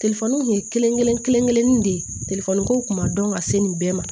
kelen kelen de ye kow kun ma dɔn ka se nin bɛɛ ma